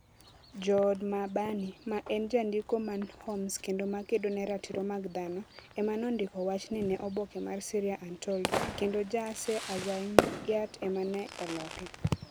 Jood Mahbani, ma en jandiko man Homs kendo ma kedo ne ratiro mag dhano, ema nondiko wachni ne oboke mar Syria Untold, kendo Jaaser Azzayyaat ema ne oloke.